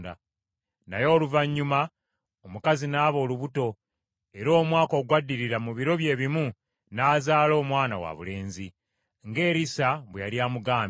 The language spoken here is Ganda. Naye oluvannyuma omukazi n’aba olubuto, era omwaka ogwaddirira mu biro bye bimu, n’azaala omwana wabulenzi, nga Erisa bwe yali amugambye.